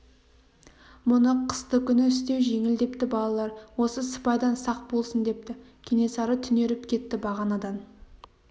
мұны қысты күні істеу жеңіл депті балалар осы сыпайдан сақ болсын депті кенесары түнеріп кетті бағанадан